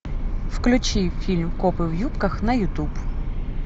включи фильм копы в юбках на ютуб